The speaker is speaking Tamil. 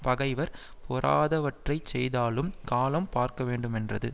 பகைவர் பொறாதவற்றை செய்தாலும் காலம் பார்க்கவேண்டுமென்றது